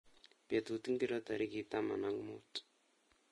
Betut ngiro tarik ta.an ak muut